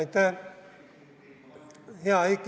Aitäh!